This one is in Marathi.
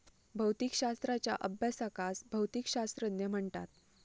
भौतिकशाश्त्राच्या अभ्यासकास भौतिकशास्त्रज्ञ म्हणतात.